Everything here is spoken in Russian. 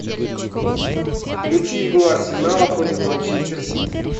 включи игру арсенала против манчестер сити